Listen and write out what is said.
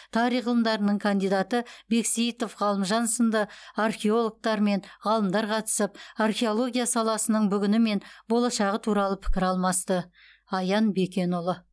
тарих ғылымдарының кандидаты бексеитов ғалымжан сынды археологтар мен ғалымдар қатысып археология саласының бүгіні мен болашағы туралы пікір алмасты аян бекенұлы